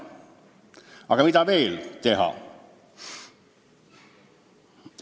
Aga mida veel teha?